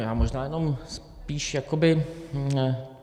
Já možná jenom spíš jakoby...